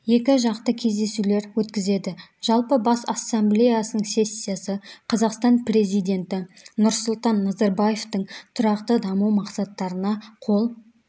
екіжақты кездесулер өткізеді жалпы бас ассамблеясының сессиясы қазақстан президенті нұрсұлтан назарбаевтың тұрақты даму мақсаттарына қол